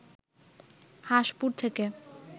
হাসঁপুর থেকে